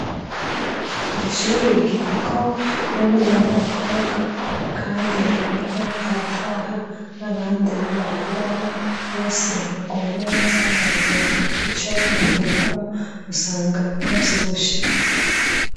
Iri shure ryigako abahungu n'abakobwa kandi hariho abataha n'abandi bararayo. Bose baguwe neza, bararonka ico bafungura, usanga bavyibushe.